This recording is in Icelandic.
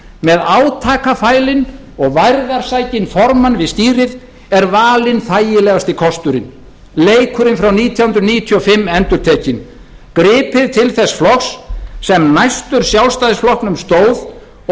með átakafælinn og værðarsækinn formann við stýrið er valinn þægilegasti kosturinn leikurinn frá nítján hundruð níutíu og fimm endurtekinn gripið til þess flokks sem næstur sjálfstæðisflokknum stóð og dugði honum til að